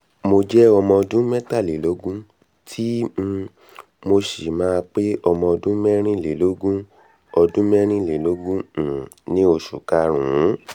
mo jẹ́ ọmọ ọdún mẹ́tàlélógún tí um mo sì máa pé ọmọ ọdún mẹ́rìnlélógún ọdún mẹ́rìnlélógún um ní́ oṣù karùn-ún